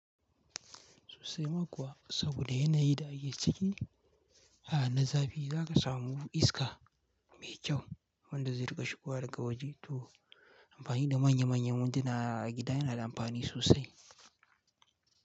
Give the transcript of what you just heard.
Sosai ma kuwa saboda yana yi da ake ciki, a na zafi za ka samu iska mai kyau wanda zai rika shigowa daga waje tor amfani da manya manyan winduna a gida yana da amfani sosai.